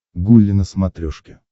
гулли на смотрешке